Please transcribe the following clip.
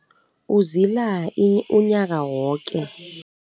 Uzila unyaka woke.